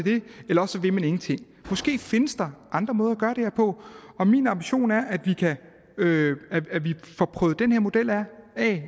eller også vil man ingenting måske findes der andre måder at gøre det her på og min ambition er at vi får prøvet den her model af